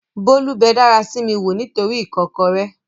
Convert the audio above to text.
Bólú bẹ dárasími wò nítoríi ìkọ́kọrẹ́